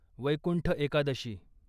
Vaikuntha Ekadashi